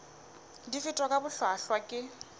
di fetwa ka bohlwahlwa ke